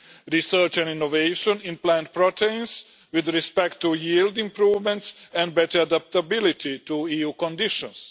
Research and innovation in plant proteins with respect to yield improvements and better adaptability to EU conditions